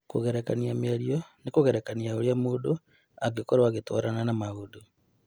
Kũgerekania mĩario nĩ kũgerekania ũrĩa mũndũ angĩkorũo agĩtwarana na mũndũ.